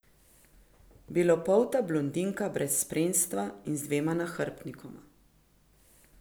Belopolta blondinka brez spremstva in z dvema nahrbtnikoma.